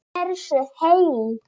Hversu heil